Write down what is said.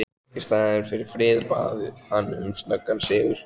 Í staðinn fyrir frið bað hann um snöggan sigur.